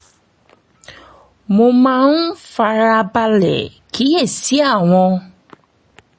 mo máa ń fara balẹ̀ kíyè sí àwọn